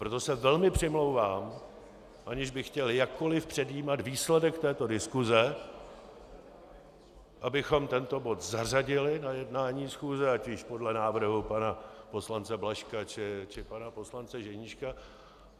Proto se velmi přimlouvám, aniž bych chtěl jakkoli předjímat výsledek této diskuse, abychom tento bod zařadili na jednání schůze, ať již podle návrhu pana poslance Blažka, či pana poslance Ženíška.